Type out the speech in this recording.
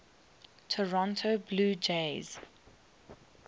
toronto blue jays